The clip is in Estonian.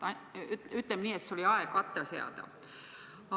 Ütleme nii, et see oli aeg atra seada.